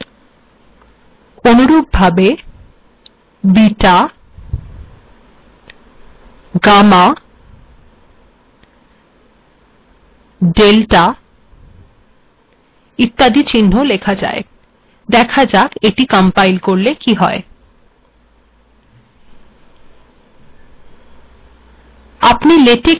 দেখা যাক এটি কম্পাইল করলে কি হয়